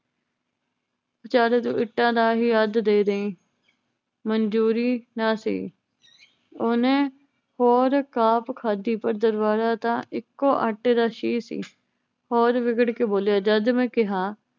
ਵੇਚਾਰੇ ਨੂੰ ਇੱਟਾਂ ਦਾ ਹੀ ਅੱਧ ਦੇ ਦਈ ਮਨਜੂਰੀ ਨਾ ਸਹੀ ਓਹਨੇ ਹੋਰ ਕਾਪ ਖਾਦੀ ਪਰ ਦਰਬਾਰਾ ਤਾਂ ਇੱਕੋ ਆਟੇ ਦਾ ਸ਼ੀਰ ਸੀ ਹੋਰ ਵਿਗੜ ਕੇ ਬੋਲਿਆ ਜਦ ਮੈ ਕਿਹਾ